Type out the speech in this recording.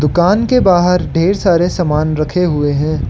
दुकान के बाहर ढेर सारे समान रखे हुए हैं।